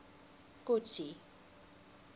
kotsi